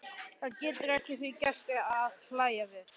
Hann getur ekki að því gert að hlæja við.